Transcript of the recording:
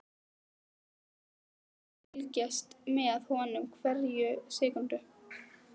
Ég ætla sko að fylgjast með honum hverja sekúndu.